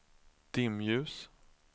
dimljus